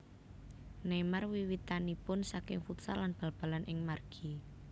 Neymar wiwitanipun saking futsal lan bal balan ing margi